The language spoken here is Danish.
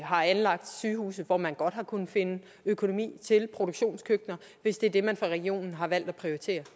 har anlagt sygehuse hvor man godt har kunnet finde økonomi til produktionskøkkener hvis det er det man fra regionens side har valgt at prioritere